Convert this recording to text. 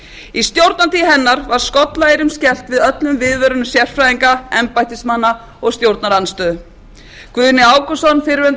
í stjórnartíð hennar var skollaeyrum skellt við öllum viðvörunum sérfræðinga embættismanna og stjórnarandstöðu guðni ágústsson fyrrverandi